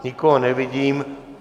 Nikoho nevidím.